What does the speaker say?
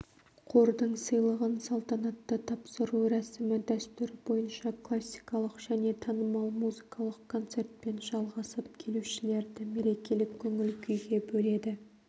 қордың сыйлығын салтанатты тапсыру рәсімі дәстүр бойынша классикалық және танымал музыкалық концертпен жалғасып келушілерді мерекелік көңіл-күйге бөледі